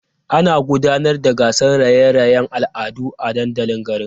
Ana gudanar da gasar raye-rayen al'adu a dandalin garin.